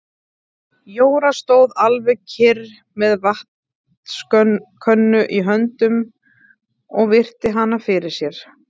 Jóra stóð alveg kyrr með vatnskönnu í höndunum og virti hann fyrir sér.